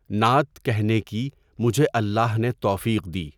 نعت کہنے کی مجھے اللہ نے توفیق دی۔